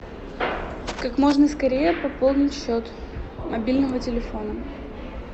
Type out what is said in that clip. как можно скорее пополнить счет мобильного телефона